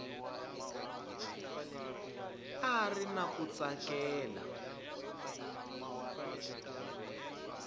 a ri na ku tsakela